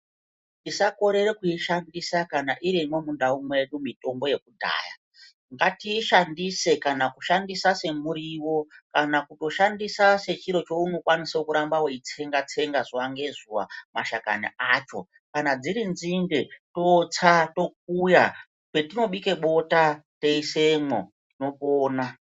Tisakorera kuishandisa kana irimwo mundau mwedu mitombo yekudhaya. Ngatiishandise kana kuishandisa semuriwo kana kutoshandisa sechiro cheunokwanisa kuramba weitsenga zuwa ngezuwa mashakani acho. Kana dziri nzinde, tosta tokuya patinobika bota toisamwo tinopona.